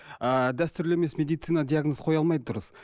ы дәстүрлі емес медицина диагноз қоя алмайды дұрыс